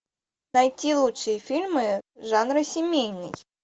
найти лучшие фильмы жанра семейный